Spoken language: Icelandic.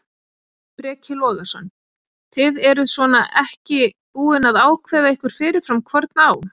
Breki Logason: Þið eruð svona ekki búin að ákveða ykkur fyrirfram hvorn á?